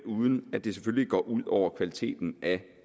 uden at det det går ud over kvaliteten af